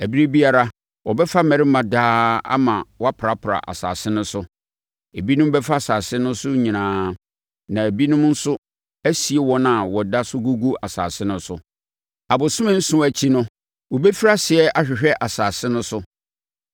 Ɛberɛ biara, wɔbɛfa mmarima daa ama wɔaprapra asase no so. Ebinom bɛfa asase no so nyinaa, na ebinom nso asie wɔn a wɔda so gugu asase no so. “ ‘Abosome nson akyi no, wɔbɛfiri aseɛ ahwehwɛ asase no so.